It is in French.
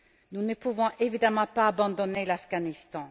Nous ne pouvons évidemment pas abandonner l'Afghanistan.